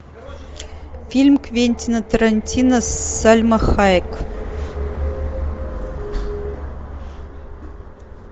фильм квентина тарантино с сальма хайек